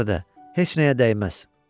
Buna görə də heç nəyə dəyməz.